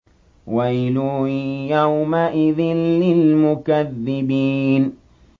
وَيْلٌ يَوْمَئِذٍ لِّلْمُكَذِّبِينَ